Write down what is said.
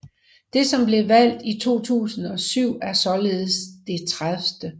Det som blev valgt i 2007 er således det 30